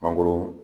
Mangoro